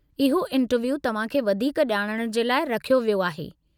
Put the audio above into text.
इहो इंटरव्यू तव्हां खे वधीक ॼाणण जे लाइ रखियो वियो आहे।